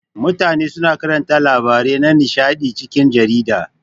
Mutane suna karanta labarai na nishaɗi a cikin jarida.